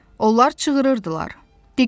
Onlar çığırırdılar.